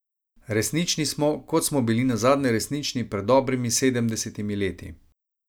Resnični smo, kot smo bili nazadnje resnični pred dobrimi sedemdesetimi leti.